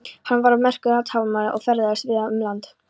Hann var merkur athafnamaður og ferðaðist víða um land.